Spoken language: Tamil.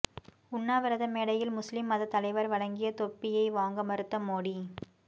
உண்ணாவிரத மேடையில் முஸ்லீம் மதத் தலைவர் வழங்கிய தொப்பியை வாங்க மறுத்த மோடி